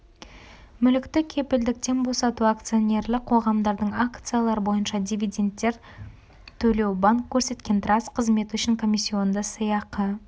мүлікті кепілдіктен босату акционерлік қоғамдардың акциялар бойынша дивидендтер төлеу банк көрсеткен траст қызметі үшін комиссионды сыйақы